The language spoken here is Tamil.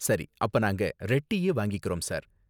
சரி, அப்ப நாங்க ரெட் டீ யே வாங்கிக்கறோம், சார்.